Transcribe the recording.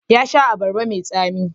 Ya sha abarba mai tsami.